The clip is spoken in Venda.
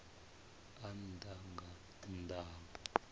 a nnḓa nga nnḓa ha